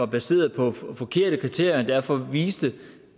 baseret på forkerte kriterier og derfor viste